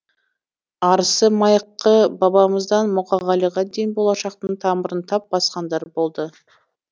арысы майқы бабамыздан мұқағалиға дейін болашақтың тамырын тап басқандар болды